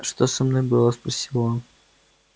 что со мной было спросил он